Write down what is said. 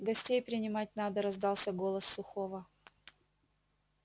гостей принимать надо раздался голос сухого